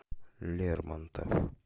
лермонтов